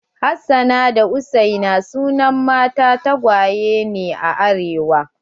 Hassana da hussaina sunan mata tagwaye ne a arewa.